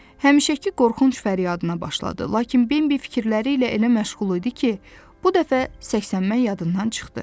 Həmişəki qorxunc fəryadına başladı, lakin Bambi fikirləri ilə elə məşğul idi ki, bu dəfə səksənmək yadından çıxdı.